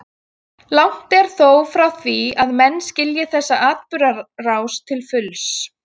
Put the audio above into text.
Langt er þó frá því að menn skilji þessa atburðarás til fulls.